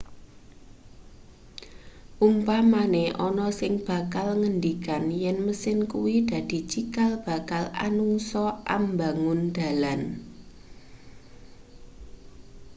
umpamane ana sing bakal ngendikan yen mesin kuwi dadi cikal bakal anungsa ambangun dalan